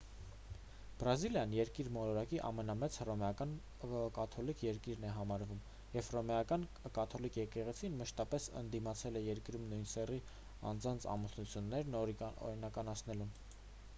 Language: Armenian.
բրազիլիան երկիր մոլորակի ամենամեծ հռոմեական կաթոլիկ երկիրն է համարվում և հռոմեական կաթոլիկ եկեղեցին մշտապես ընդդիմացել է երկրում նույն սեռի անձանց ամուսնություններն օրինականացնելուն